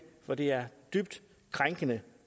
for det er dybt krænkende